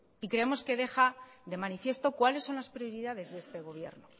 y creemos que deja de manifiesto cuáles son las prioridades de este gobierno